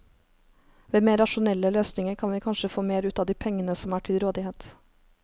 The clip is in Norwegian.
Ved mer rasjonelle løsninger kan vi kanskje få mer ut av de pengene som er til rådighet.